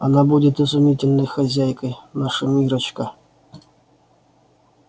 она будет изумительной хозяйкой наша миррочка